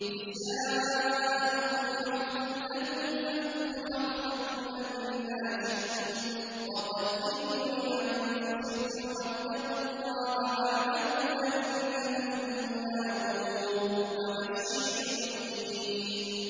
نِسَاؤُكُمْ حَرْثٌ لَّكُمْ فَأْتُوا حَرْثَكُمْ أَنَّىٰ شِئْتُمْ ۖ وَقَدِّمُوا لِأَنفُسِكُمْ ۚ وَاتَّقُوا اللَّهَ وَاعْلَمُوا أَنَّكُم مُّلَاقُوهُ ۗ وَبَشِّرِ الْمُؤْمِنِينَ